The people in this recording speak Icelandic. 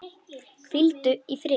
Hvíldu í friði.